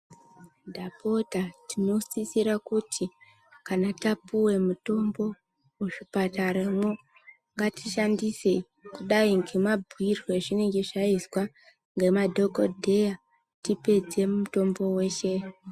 Ndapota tinosisira kuti kana tapuwa mutombo muzvipataramwo ngatiishandise kudai nemabhuirwe azvinenge zvaizwa nemadhokodheya tioedze mutombo weshe.